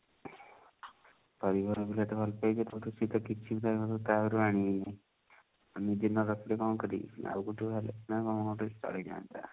ପରିବାର ଭିତରୁ ଯେହେତୁ ଭଲ ପାଇଛି ସେପଟୁ ସେ ତ କିଛି ତ ତା ଘରୁ ଆଣିବନି ଆଉ ମୁଁ ନ ରଖିଲେ କଣ କରିବି ଆଉ ଗୋଟେ ବାହା ହେଲେ ସିନା କଣ ଗୋଟେ ଚଳି ଯାଆନ୍ତା